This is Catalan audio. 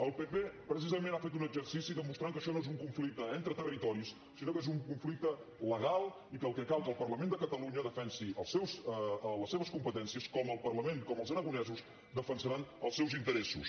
el pp precisament ha fet un exercici demostrant que això no és un conflicte entre territoris sinó que és un conflicte legal i que el que cal és que el parlament de catalunya defensi les seves competències com els aragonesos defensaran els seus interessos